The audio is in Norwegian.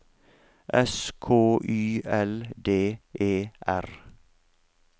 S K Y L D E R